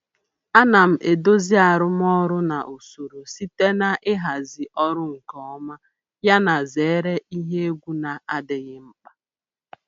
Ana m edozi arụmọrụ na usoro site na ịhazi ọrụ nke ọma yana zere ihe egwu na-adịghị mkpa.